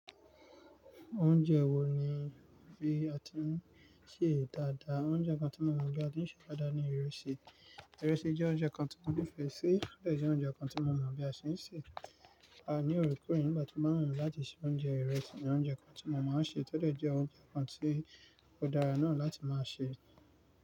Oúnjẹ wo ni bí a ti ń sè dáadáa? Oúnjẹ kan tí mo mọ̀ bí a ti ń sè é dáadáa ni ìrẹsì. Ìrẹsì jẹ́ oúnjẹ kan tí mo nífẹ̀ẹ́ si, tọ́dẹ̀ jẹ oúnjẹ kan tí mo mọ̀ bí a ṣe ń sè é. A ní òrùka yìí nígbà tí mo máa ń ràn láti sè oúnjẹ ìrẹsì ni oúnjẹ kan tí mo máa ń ṣe. Tọ́dẹ̀ jẹ oúnjẹ kan tí ó dára náà láti máa sè é.